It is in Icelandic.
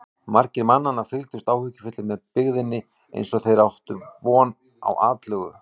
Margir mannanna fylgdust áhyggjufullir með byggðinni eins og þeir ættu von á atlögu.